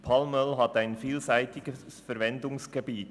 Palmöl hat ein vielseitiges Verwendungsspektrum.